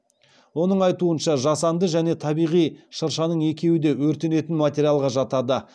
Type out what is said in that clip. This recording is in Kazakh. оның айтуынша жасанды және табиғи шыршаның екеуі де өртенетін материалға жатады